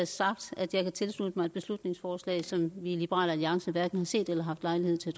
sagt at jeg kan tilslutte mig et beslutningsforslag som vi i liberal alliance hverken har set eller haft lejlighed til